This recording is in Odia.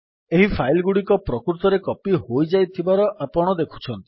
ଏହି ଫାଇଲ୍ ଗୁଡିକ ପ୍ରକୃତରେ କପୀ ହୋଇଯାଇଥିବାର ଆପଣ ଦେଖୁଛନ୍ତି